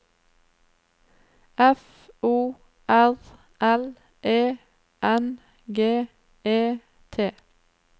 F O R L E N G E T